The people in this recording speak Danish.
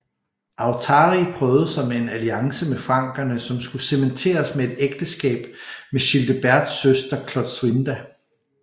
Authari prøvede sig med en alliance med frankerne som skulle cementeres med et ægteskab med Childeberts søster Klotsuinda